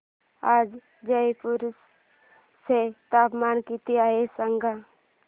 आज जयपूर चे तापमान किती आहे सांगा